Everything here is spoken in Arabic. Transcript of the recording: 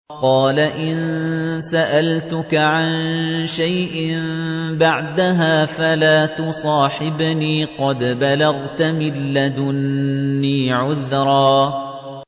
قَالَ إِن سَأَلْتُكَ عَن شَيْءٍ بَعْدَهَا فَلَا تُصَاحِبْنِي ۖ قَدْ بَلَغْتَ مِن لَّدُنِّي عُذْرًا